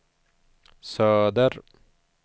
söder